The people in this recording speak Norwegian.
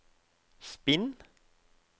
spinn